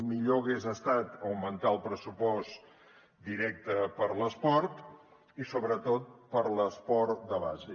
millor hagués estat augmentar el pressupost directe per a l’esport i sobretot per a l’esport de base